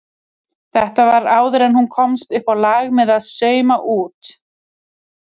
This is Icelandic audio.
Þetta var áður en hún komst uppá lag með að sauma út.